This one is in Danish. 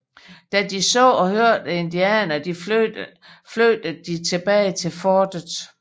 Da de så og hørte indianerne flygtede de tilbage til fortet